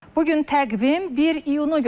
Bu gün təqvim 1 iyunu göstərir.